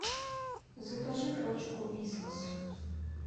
закажи пачку вискас